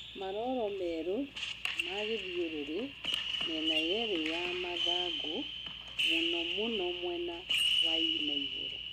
Maroro maĩru magĩthiũrũrĩ mĩena yerĩ ya mathangũ mũnomũno mwena wanaigũrũ.